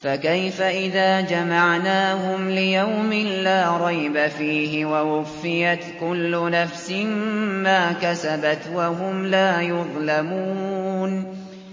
فَكَيْفَ إِذَا جَمَعْنَاهُمْ لِيَوْمٍ لَّا رَيْبَ فِيهِ وَوُفِّيَتْ كُلُّ نَفْسٍ مَّا كَسَبَتْ وَهُمْ لَا يُظْلَمُونَ